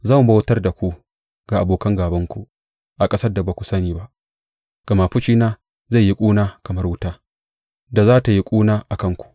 Zan bautar da ku ga abokan gābanku a ƙasar da ba ku sani ba, gama fushina zai yi ƙuna kamar wuta da za tă yi ƙuna a kanku.